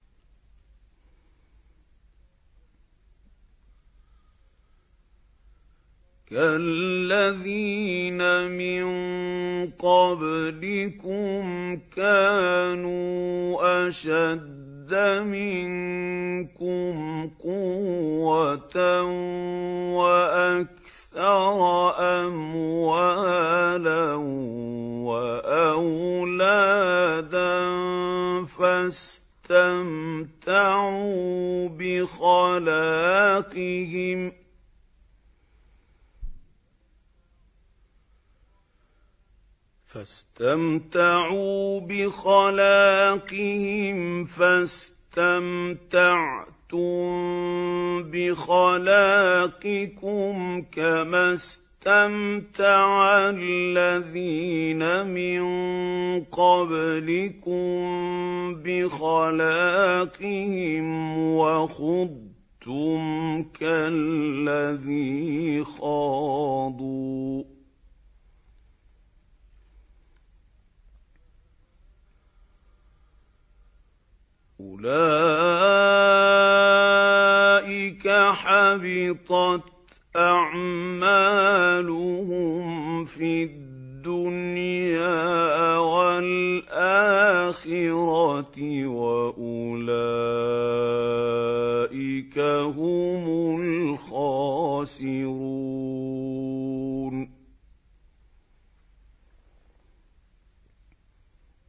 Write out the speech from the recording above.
كَالَّذِينَ مِن قَبْلِكُمْ كَانُوا أَشَدَّ مِنكُمْ قُوَّةً وَأَكْثَرَ أَمْوَالًا وَأَوْلَادًا فَاسْتَمْتَعُوا بِخَلَاقِهِمْ فَاسْتَمْتَعْتُم بِخَلَاقِكُمْ كَمَا اسْتَمْتَعَ الَّذِينَ مِن قَبْلِكُم بِخَلَاقِهِمْ وَخُضْتُمْ كَالَّذِي خَاضُوا ۚ أُولَٰئِكَ حَبِطَتْ أَعْمَالُهُمْ فِي الدُّنْيَا وَالْآخِرَةِ ۖ وَأُولَٰئِكَ هُمُ الْخَاسِرُونَ